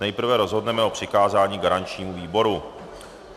Nejprve rozhodneme o přikázání garančnímu výboru.